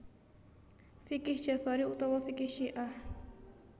Fiqih Jafari utawa Fiqih Syiah